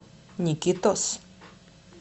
никитос